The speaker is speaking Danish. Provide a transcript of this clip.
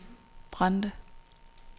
Brande